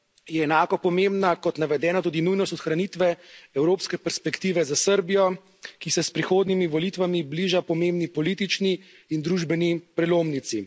je enako pomembna kot navedena tudi nujnost ohranitve evropske perspektive za Srbijo, ki se s prihodnjimi volitvami bliža pomembni politični in družbeni prelomnici.